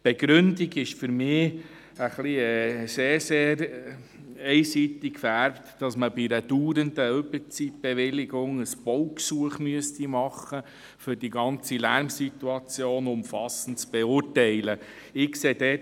Die Begründung, dass man bei einer dauernden Überzeitbewilligung ein Baugesuch einreichen müsste, um die ganze Lärmsituation umfassend zu beurteilen, ist für mich ein wenig sehr einseitig gefärbt.